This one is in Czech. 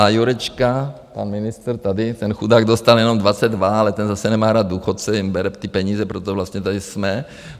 A Jurečka, pan ministr tady , ten chudák dostal jenom 22, ale ten zase nemá rád důchodce, jim bere ty peníze, proto vlastně tady jsme.